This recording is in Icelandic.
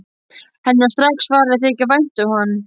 Henni var strax farið að þykja vænt um hann.